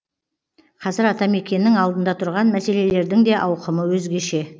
қазір атамекеннің алдында тұрған мәселелердің де ауқымы өзгеше